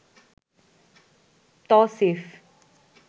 Tausif